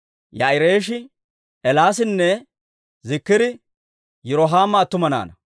Yaa'ireeshii, Eelaasinne Ziikiri Yirohaama attuma naanaa.